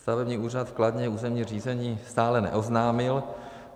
Stavební úřad v Kladně územní řízení stále neoznámil.